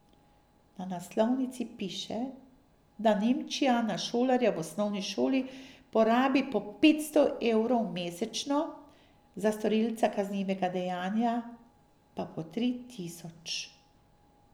Na naslovnici piše, da Nemčija na šolarja v osnovni šoli porabi po petsto evrov mesečno, za storilca kaznivega dejanja pa po tri tisoč.